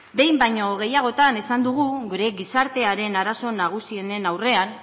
behin baino gehiagotan esan dugu gure gizartearen arazo nagusienen aldean